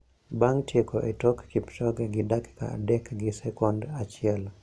Bang` tieko e tok Kipchoge gi dakika adek gi second achiel,